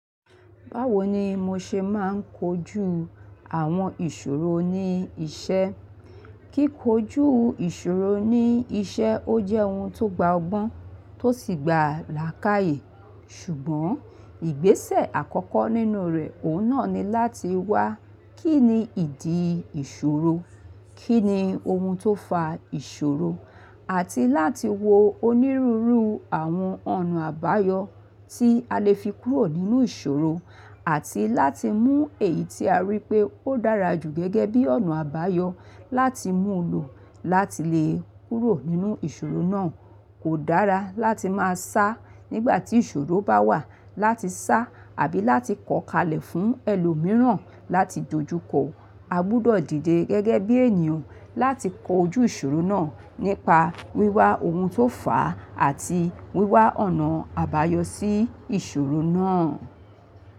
Báwo ni mo ṣe máa ń kojú àwọn ìṣòro ní iṣẹ́? Kíko ojú ìṣòro ní iṣẹ́ ó jẹ́ ohun tó gba ọgbọ́n tó sì gba làákàyè. Ṣùgbọ́n ìgbésẹ̀ àkọ́kọ́ nínú rẹ̀, òun náà ni láti wá kí ni ìdí ìṣòro, kí ni ohun tó fa ìṣòro, àti láti wo onírúurú àwọn ọ̀nà àbáyọ tí a lè fi kúrò nínú ìṣòro, àti láti mú èyí tí a rí pé ó dára jù gẹ́gẹ́ bí ọ̀nà àbáyọ láti mú lò láti lè kúrò nínú ìṣòro náà. Kò dára láti máa sá nígbà tí ìṣòro bá wà, láti sá àbí láti kọ kalẹ̀ fún ẹlòmíràn láti dojú kọ. A gbúdọ̀ dìde gẹ́gẹ́ bí ènìyàn láti kojú ìṣòro náà nípa wíwa ohun tó fà á àti wíwa ọ̀nà àbáyọ sí ìṣòro náà.